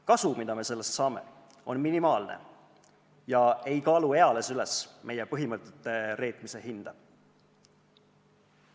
Kasu, mida me sellest saame, on minimaalne ja ei kaalu eales üles meie põhimõtete reetmise hinda.